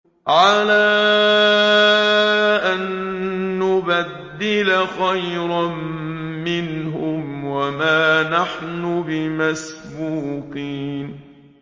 عَلَىٰ أَن نُّبَدِّلَ خَيْرًا مِّنْهُمْ وَمَا نَحْنُ بِمَسْبُوقِينَ